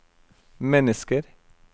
mennesker